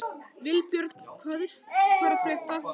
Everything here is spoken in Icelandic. Vilbjörn, hvað er að frétta?